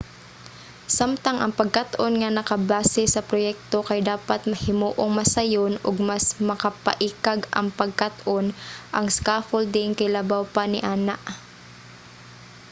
samtang ang pagkat-on nga nakabase sa proyekto kay dapat himuong mas sayon ug mas makapaikag ang pagkat-on ang scaffolding kay labaw pa niana